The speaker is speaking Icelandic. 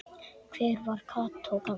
Hver var Kató gamli?